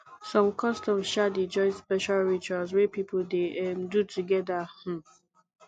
som customs um dey join special rituals wey pipo dey um do togeda um